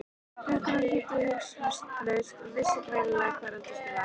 Drengurinn hlýddi hugsunarlaust og vissi greinilega hvar eldhúsið var.